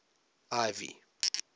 ivy